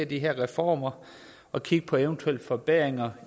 de her reformer og kigge på eventuelle forbedringer